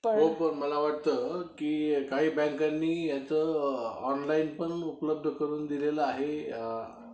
हो पण मला वाटतं, काही बँकांनी ह्याचं ऑनलाईन पण उपलब्ध करून दिलेलं आहे.